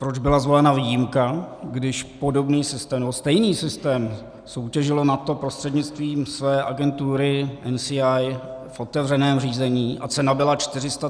Proč byla zvolena výjimka, když podobný systém nebo stejný systém soutěžilo NATO prostřednictvím své agentury NCIA v otevřeném řízení a cena byla 434 milionů korun?